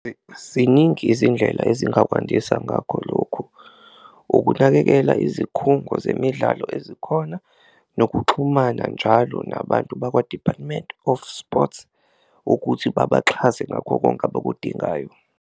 Ziningi izindlela ezingakwandisa ngakho lokhu, ukunakekela izikhungo zemidlalo ezikhona nokuxhumana njalo nabantu bakwa-Department of Sports ukuthi babaxhase ngakho konke abakudingayo.